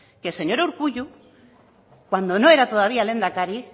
que el señor urkullu cuando no era todavía lehendakari